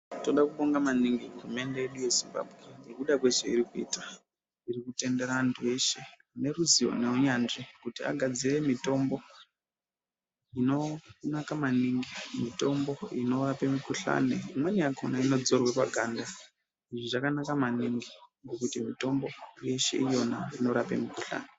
Tinodakubonga maningi hurumende yedu yezimbambwe ngekuda kwezvairi kuita. Iri kutendera antu eshe ngeruzivo neunyanzvi kuti agadzire mitombo inonaka maningi mitombo inovape mikuhlani. Imweni yakona inodzorwe paganda. Izvi zvakanaka maningi ngekuti mitombo yeshe iyona inorape mikuhlani.